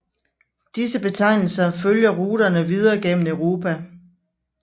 Disse betegnelser følger ruterne videre gennem Europa